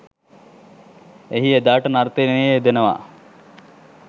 එහි එදාට නර්තනයේ යෙදෙනවා.